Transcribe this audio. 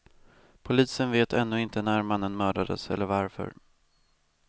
Polisen vet ännu inte när mannen mördades eller varför.